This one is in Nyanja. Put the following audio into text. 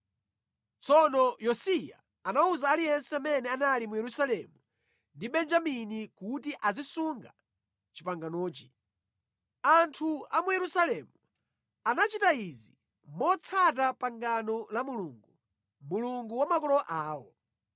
Tsono Yosiya anawuza aliyense amene anali mu Yerusalemu ndi Benjamini kuti azisunga panganoli. Anthu a mu Yerusalemu anachita izi motsata pangano la Mulungu, Mulungu wa makolo awo.